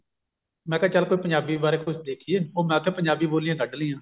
ਮੈਂ ਕਿਹਾ ਚੱਲ ਕੋਈ ਪੰਜਾਬੀ ਬਾਰੇ ਕੁਝ ਦੇਖੀਏ ਉਹ ਮੈਂ ਤਾਂ ਪੰਜਾਬੀ ਬੋਲੀਆਂ ਕੱਡ ਲਈਆਂ